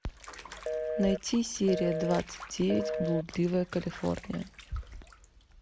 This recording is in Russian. найти серия двадцать девять блудливая калифорния